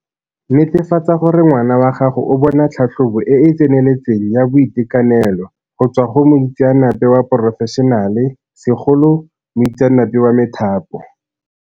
Netefatsa gore ngwana wa gago o bona tlhatlhobo e e tseneletseng ya boitekanelo go tswa go moitseanape wa porofešenale, segolo moitseanape wa methapo.